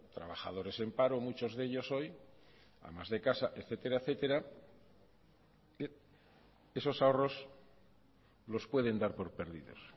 trabajadores en paro muchos de ellos hoy amas de casa etcétera etcétera esos ahorros los pueden dar por perdidos